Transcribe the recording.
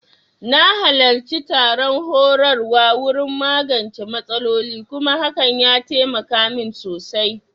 Na halarci taron horarwa wurin magance matsaloli kuma hakan ya taimaka min sosai